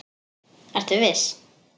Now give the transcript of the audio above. Ertu viss?